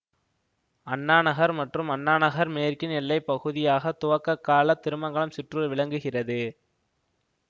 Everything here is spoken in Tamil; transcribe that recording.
அண்ணா நகர் மற்றும் அண்ணா நகர் மேற்கின் எல்லைப்பகுதியாக துவக்கக்கால திருமங்கலம் சிற்றூர் விளங்குகிறது